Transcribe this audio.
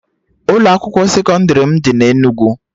Ụlọ akwụkwọ sekọndrị m dị na Enugu